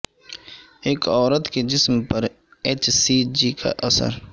ایک عورت کے جسم پر ایچ سی جی کا اثر